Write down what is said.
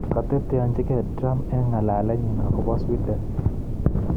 Koteteanchigei Trump eng ng'alalenyi akobo Sweden